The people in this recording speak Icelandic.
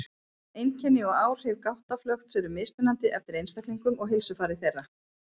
Einkenni og áhrif gáttaflökts eru mismunandi eftir einstaklingum og heilsufari þeirra.